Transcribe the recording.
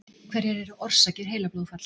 Hverjar eru orsakir heilablóðfalls?